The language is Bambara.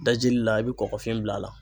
Dajili la i bɛ kɔkɔfin bila a la.